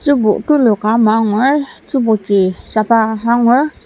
tzübo tuluka ama angur tzüboji saba angur.